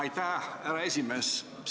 Aitäh, härra esimees!